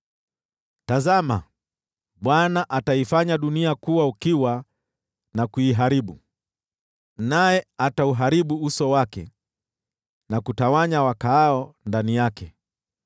Tazama, Bwana ataifanya dunia kuwa ukiwa na kuiharibu, naye atauharibu uso wake na kutawanya wakaao ndani yake: